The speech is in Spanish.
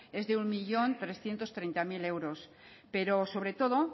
es de un millón trescientos treinta mil euros pero sobre todo